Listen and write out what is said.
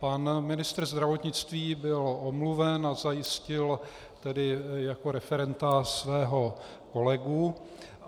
Pan ministr zdravotnictví byl omluven a zajistil tedy jako referenta svého kolegu.